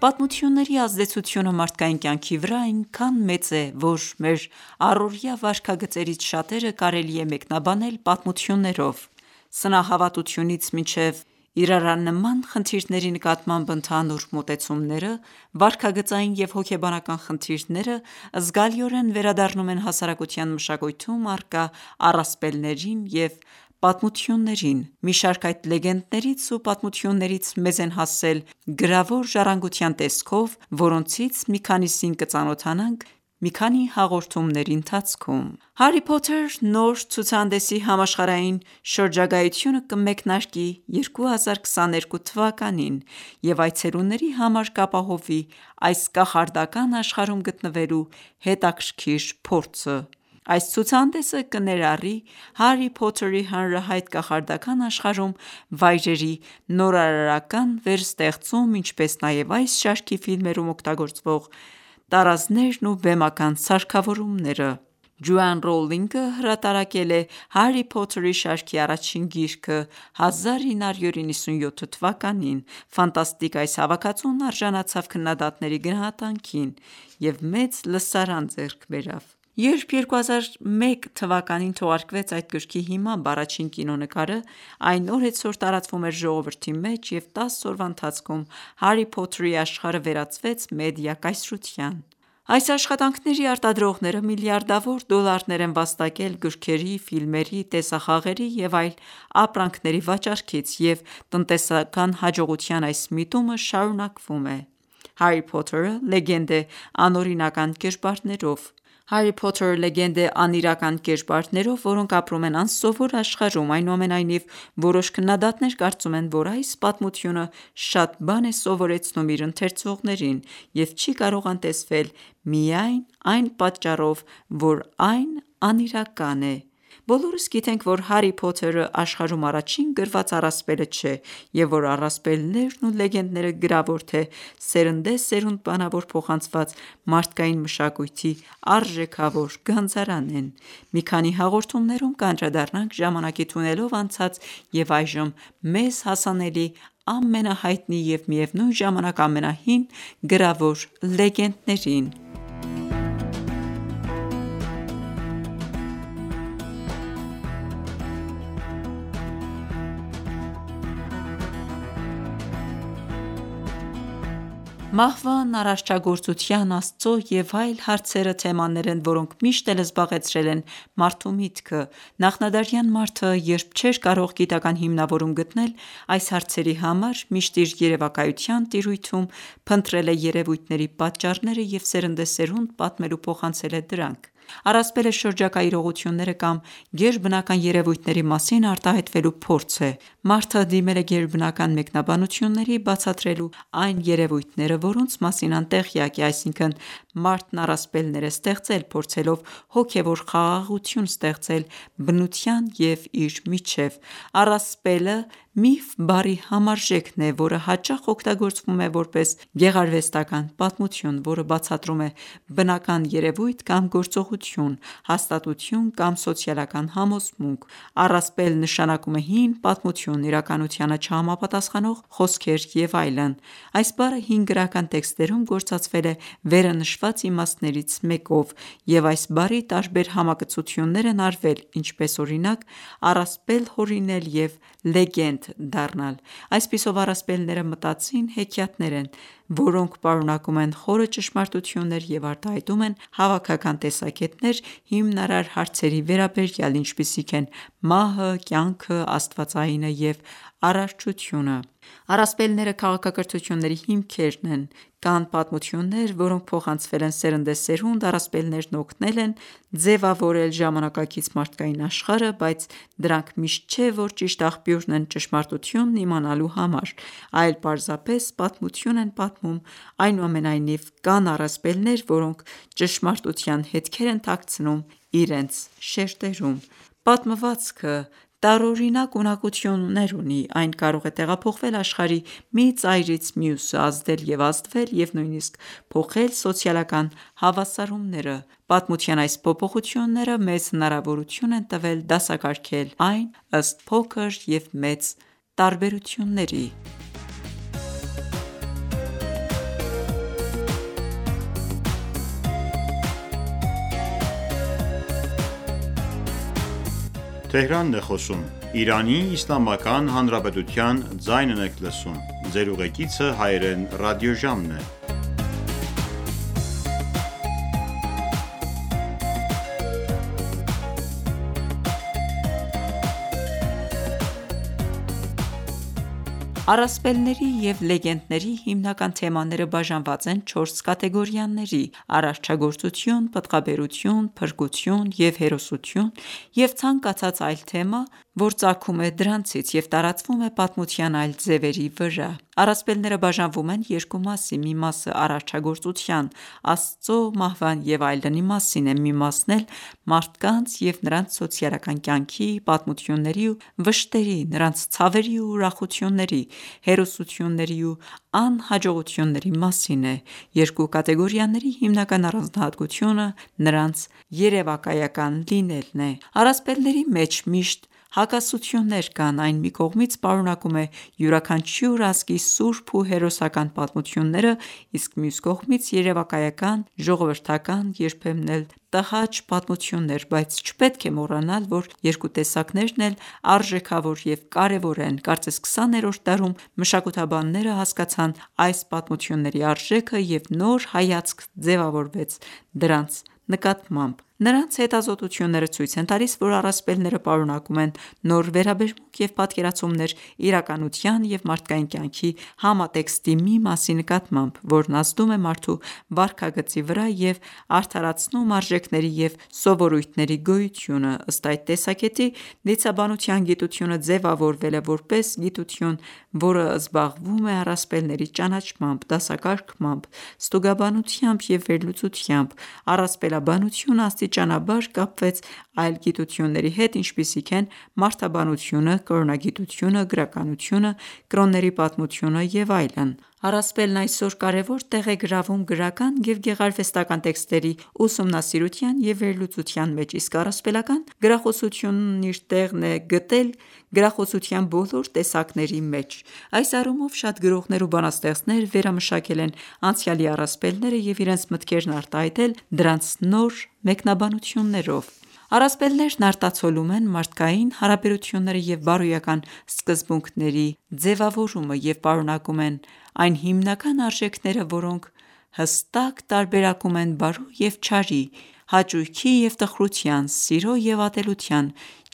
Պատմությունների ազդեցությունը մարդկային կյանքի վրա այնքան մեծ է, որ մեր առօրյա վարքագծերից շատերը կարելի է մեկնաբանել պատմություններով: Սնահավատությունից մինչև իրարանման խնդիրների նկատմամբ ընդհանուր մոտեցումները, վարքագծային և հոգեբանական խնդիրները զգալիորեն վերադառնում են հասարակության մշակույթում առկա առասպելներին և պատմություններին: Մի շարք այդ լեգենդներից ու պատմություններից մեզ են հասել գրավոր ժառանգության տեսքով, որոնցից մի քանիսին կծանոթանանք մի քանի հաղորդումների ընթացքում: «Հարրի Փոթեր» նոր ցուցահանդեսի համաշխարհային շրջագայությունը կմեկնարկի 2022 թվականին և այցելուների համար կապահովի այս կախարդական աշխարհում գտնվելու հետաքրքիր փորձը։ Այս ցուցահանդեսը կներառի Հարրի Փոթերի հանրահայտ կախարդական աշխարհում վայրերի նորարարական վերստեղծում, ինչպես նաև այս շարքի ֆիլմերում օգտագործվող տարազներն ու բեմական սարքավորումները: Ջոան Ռոուլինգը հրատարակել է Հարրի Փոթերի շարքի առաջին գիրքը 1997 թվականին: Ֆանտաստիկ այս հավաքածուն արժանացավ քննադատների գնահատանքին և մեծ լսարան ձեռք բերավ: Երբ 2001 թվականին թողարկվեց այդ գրքի հիմամբ առաջին կինոնկարը, այն օրեցօր տարածվում էր ժողովրդի մեջ, և 10 տարվա ընթացքում «Հարրի Փոթեր»-ի աշխարհը վերածվեց մեդիա կայսրության: Այս աշխատանքների արտադրողները միլիարդավոր դոլարներ են վաստակել գրքերի, ֆիլմերի, տեսախաղերի և այլ ապրանքների վաճառքից, և տնտեսական հաջողության այս միտումը շարունակվում է։ «Հարրի Փոթերը» լեգենդ է անիրական կերպարներով, որոնք ապրում են անսովոր աշխարհում։ Այնուամենայնիվ, որոշ քննադատներ կարծում են, որ այս պատմությունը շատ բան է սովորեցնում իր ընթերցողներին և չի կարող անտեսվել միայն այն պատճառով, որ այն անիրական է: Բոլորս գիտենք, որ Հարրի Փոթերը աշխարհում առաջին գրված առասպելը չէ, և որ առասպելներն ու լեգենդները՝ գրավոր թե սերնդեսերունդ բանավոր փոխանցված, մարդկային մշակույթի արժեքավոր գանձարան են: Մի քանի հաղորդումներում կանդրադառնանք ժամանակի թունելով անցած և այժմ մեզ հասանելի ամենահայտնի և միևնույն ժամանակ ամենահին գրավոր լեգենդներին։ Մահվան, արարչագործության, Աստծո և այլ հարցերը թեմաներ են, որոնք միշտ էլ զբաղեցրել են մարդու միտքը։ Նախնադարյան մարդը, երբ չէր կարող գիտական ​​հիմնավորում գտնել այս հարցերի համար, միշտ իր երևակայության տիրույթում՝ փնտրել է երևույթների պատճառները և սերնդեսերունդ պատմել ու փոխանցել է դրանք: Առասպելը շրջակա իրողությունները կամ գերբնական երևույթների մասին արտահայտվելու փորձ է: Մարդը դիմել է գերբնական մեկնաբանությունների՝ բացատրելու այն երեւույթները, որոնց մասին անտեղյակ է: Այսինքն՝ մարդն առասպելներ է ստեղծել՝ փորձելով հոգևոր խաղաղություն ստեղծել բնության և իր միջև։ Առասպելը միֆ բառի համարժեքն է, որը հաճախ օգտագործվում է որպես գեղարվեստական ​​պատմություն, որը բացատրում է բնական երևույթ կամ գործողություն, հաստատություն կամ սոցիալական համոզմունք: Առասպել նշանակում է հին պատմություն, իրականությանը չհամապատասխանող խոսքեր և այլն: Այս բառը հին գրական տեքստերում գործածվել է վերը նշված իմաստներից մեկով և այս բառի տարբեր համակցություններ են արվել, ինչպես օրինակ՝ առասպել հորինել և լեգենդ դառնալ։ Այսպիսով, առասպելները մտածին հեքիաթներ են, որոնք պարունակում են խորը ճշմարտություններ և արտահայտում են հավաքական տեսակետներ հիմնարար հարցերի վերաբերյալ, ինչպիսիք են մահը, կյանքը, աստվածայինը և արաչությունը: Առասպելները քաղաքակրթությունների հիմքերն են: Կան պատմություններ, որոնք փոխանցվել են սերնդեսերունդ: Առասպելներն օգնել են ձևավորել ժամանակակից մարդկային աշխարհը, բայց դրանք միշտ չէ, որ ճիշտ աղբյուրն են ճշմարտությունն իմանալու համար, այլ պարզապես պատմություն են պատմում: Այնուամենայնիվ, կան առասպելներ, որոնք ճշմարտության հետքեր են թաքցնում իրենց շերտերում: Պատմվածքը տարօրինակ ունակություններ ունի. Այն կարող է տեղափոխվել աշխարհի մի ծայրից մյուսը, ազդել և ազդվել և նույնիսկ փոխել սոցիալական հավասարումները: Պատմության այս փոփոխությունները մեզ հնարավորություն են տվել դասակարգել այն ըստ փոքր և մեծ տարբերությունների: Առասպելների և լեգենդների հիմնական թեմաները բաժանված են չորս կատեգորիաների՝ արարչագործություն, պտղաբերություն, փրկություն և հերոսություն, և ցանկացած այլ թեմա ծագում դրանցից և տարածվում է պատմության այլ ձևերի վրա։ Առասպելները բաժանվում են երկու մասի` մի մասը արարչագործության, Աստծո, մահվան և այլնի մասին է: Մի մասն էլ մարդկանց և նրանց սոցիալական կյանքի, պատմությունների ու վշտերի, նրանց ցավերի ու ուրախությունների, հերոսությունների ու անհաջողությունների մասին է: Երկու կատեգորիաների հիմնական առանձնահատկությունը նրանց երևակայական լինելն է։ Առասպելների մեջ միշտ հակասություններ կան։ Այն մի կողմից պարունակում է յուրաքանչյուր ազգի սուրբ ու հերոսական պատմությունները, իսկ մյուս կողմից՝ երևակայական, ժողովրդական, երբեմն էլ տհաճ պատմություններ։ Բայց չպետք է մոռանալ, որ երկու տեսակներն էլ արժեքավոր և կարևոր են. Կարծես քսաներորդ դարում մշակութաբանները հասկացան այս պատմությունների արժեքը և նոր հայացք ձևավորվեց դրանց նկատմամբ։ Նրանց հետազոտությունները ցույց են տալիս, որ առասպելները պարունակում են նոր վերաբերմունք և պատկերացումներ իրականության և մարդկային կյանքի համատեքստի մի մասի նկատմամբ, որն ազդում է մարդու վարքագծի վրա և արդարացնում արժեքների և սովորույթների գոյությունը: Ըստ այդ տեսակետի՝ դիցաբանության գիտությունը ձևավորվել է որպես գիտություն, որը զբաղվում է առասպելների ճանաչմամբ, դասակարգմամբ, ստուգաբանությամբ և վերլուծությամբ։ Առասպելաբանությունը աստիճանաբար կապվեց այլ գիտությունների հետ, ինչպիսիք են մարդաբանությունը, կրոնագիտությունը, գրականությունը, կրոնների պատմությունը և այլն: Առասպելն այսօր կարևոր տեղ է գրավում գրական և գեղարվեստական ​​տեքստերի ուսումնասիրության և վերլուծության մեջ, իսկ առասպելական գրախոսությունն իր տեղն է գտել գրախոսության բոլոր տեսակների մեջ։ Այս առումով շատ գրողներ ու բանաստեղծներ վերամշակել են անցյալի առասպելները և իրենց մտքերն արտահայտել դրանց նոր մեկնաբանություններով։ Առասպելներն արտացոլում են մարդկային հարաբերությունները և բարոյական սկզբունքների ձևավորումը և պարունակում են այն հիմնական արժեքները, որոնք հստակ տարբերակում են բարու և չարի, հաճույքի և տխրության, սիրո և ատելության,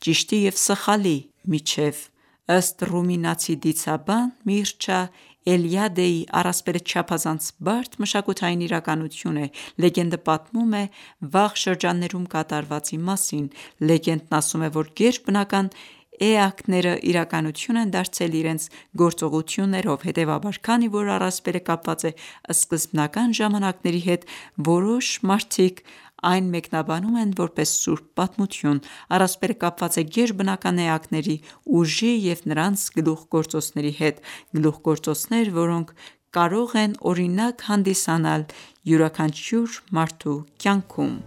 ճիշտի և սխալի միջև: Ըստ ռումինացի դիցաբան Միրչա Էլիադեի՝ առասպելը չափազանց բարդ մշակութային իրականություն է։ Լեգենդը պատմում է վաղ շրջաններում կատարվածի մասին: Լեգենդն ասում է, որ գերբնական էակները իրականություն են դարձել իրենց գործողություններով: Հետևաբար, քանի որ առասպելը կապված է սկզբնական ժամանակների հետ, որոշ մարդիկ այն մեկնաբանում են որպես սուրբ պատմություն։ Առասպելը կապված է գերբնական էակների ուժի և նրանց գլուխգործոցների հետ, գլուխգործոցներ, որոնք կարող են օրինակ հանդիսանալ յուրաքանչյուր մարդու կյանքում: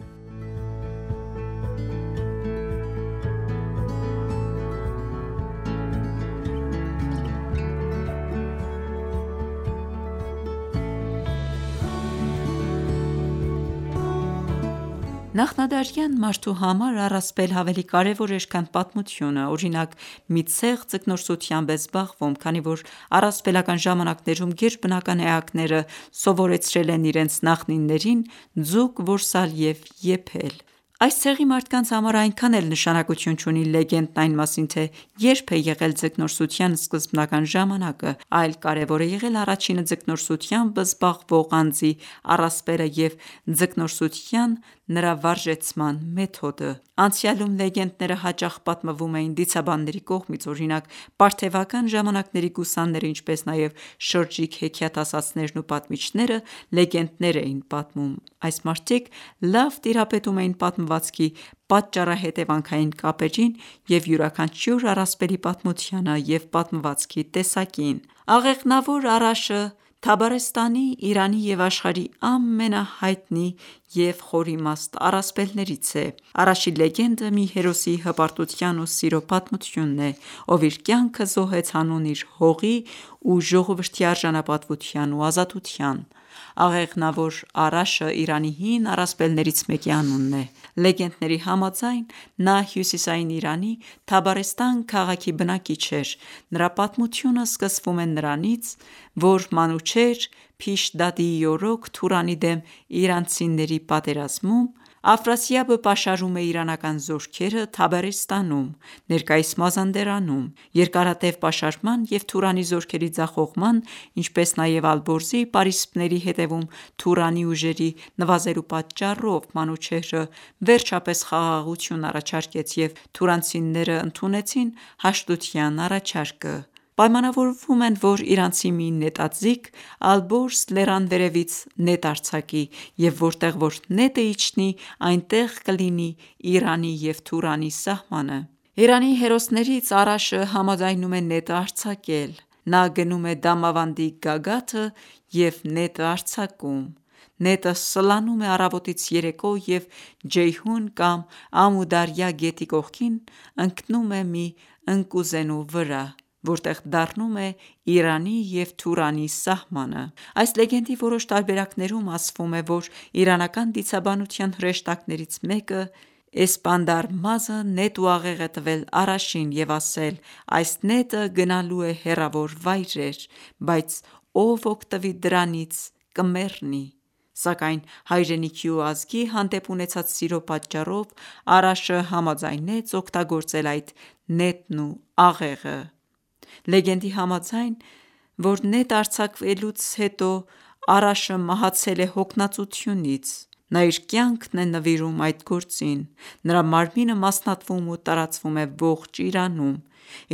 Նախնադարյան մարդու համար առասպելը ավելի կարևոր էր, քան պատմությունը: Օրինակ, մի ցեղ ձկնորսությամբ է զբաղվում, քանի որ առասպելական ժամանակներում գերբնական էակները սովորեցրել են իրենց նախնիներին ձուկ որսալ և եփել: Այս ցեղի մարդկանց համար այնքան էլ նշանակություն չունի լեգենդն այն մասին, թե երբ է եղել ձկնորսության սկզբնական ժամանակը, այլ կարևոր է եղել առաջինը ձկնորսությամբ զբաղվող անձի առասպելը և ձկնորսության նրա վարժեցման մեթոդը: Անցյալում լեգենդները հաճախ պատմվում էին դիցաբանների կողմից: Օրինակ, պարթևական ժամանակների գուսանները ինչպես նաև շրջիկ հեքիաթասացներն ու պատմիչները լեգենդներ էին պատմում։ Այս մարդիկ լավ տիրապետում էին պատմվածքի պատճառահետևանքային կապերին և յուրաքանչյուր առասպելի պատմությանը և պատմվածքի տեսակին։ Աղեղնավոր Արաշը Թաբարեստանի, Իրանի և աշխարհի ամենահայտնի և խորիմաստ առասպելներից է։ Արաշի լեգենդը մի հերոսի հպարտության ու սիրո պատմությունն է, ով իր կյանքը զոհեց հանուն իր հողի ու ժողովրդի արժանապատվության ու ազատության։ Աղեղնավոր Արաշը Իրանի հին առասպելներից մեկի անունն է: Լեգենդների համաձայն, նա հյուսիսային Իրանի Թաբարեստան քաղաքի բնակիչ էր։ Նրա պատմությունը սկսվում է նրանից, որ Մանուչեհր Փիշդադիի օրոք Թուրանի դեմ իրանցիների պատերազմում, Աֆրասիաբը պաշարում է իրանական զորքերը Թաբարեստանում (ներկայիս Մազանդարանում)։ Երկարատև պաշարման և Թուրանի զորքերի ձախողման, ինչպես նաև Ալբորզի պարիսպների հետևում թուրանի ուժերի նվազելու պատճառով Մանուչեհրը վերջապես խաղաղություն առաջարկեց, և թուրանացիներն ընդունեցին հաշտության առաջարկը։ Պայմանավորվում են, որ իրանցի մի նետաձիգ «Ալբորզ» լեռան վերևից նետ արձակի, և որտեղ որ նետը իջնի, այնտեղ կլինի Իրանի և Թուրանի սահմանը։ Իրանի հերոսներից Արաշը համաձայնում է նետը արձակել։ Նա գնում է Դամավանդի գագաթը և նետը արձակում։ Նետը սլանում է առավոտից երեկո և Ջեյհուն կամ Ամու Դարյա գետի կողքին ընկնում է մի ընկուզենիի վրա, որտեղ դառնում է Իրանի և Թուրանի սահմանը: Այս լեգենդի որոշ տարբերակներում ասվում է, որ իրանական դիցաբանության հրեշտակներից մեկը՝ «Էսպանդարմազը» նետ ու աղեղ է տվել Արաշին և ասել. «Այս նետը գնալու է հեռավոր վայրեր, բայց ով օգտվի դրանից՝ կմեռնի։ Սակայն հայրենիքի ու ազգի հանդեպ ունեցած սիրո պատճառով Արաշը համաձայնեց օգտագործել այդ նետն ու աղեղը»: Լեգենդի համաձայն, որ նետը արձակելուց հետո Արաշը մահացել է հոգնածությունից: Նա իր կյանքն է նվիրում այդ գործին: Նրա մարմինը մասնատվում ու տարածվում է ողջ Իրանում: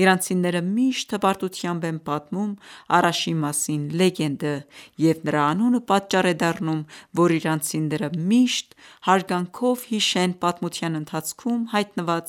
Իրանցիները միշտ հպարտությամբ են պատմում Արաշի մասին լեգենդը, և նրա անունը պատճառ է դառնում, որ իրանցիները միշտ հարգանքով հիշեն պատմության ընթացքում հայտնված